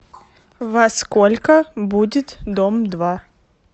во сколько будет дом два